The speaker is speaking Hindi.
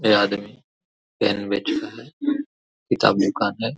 ये आदमी पैन बेच रहा हैकिताब दुकान है ।